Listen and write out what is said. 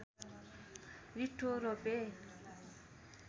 रिट्ठो रोपे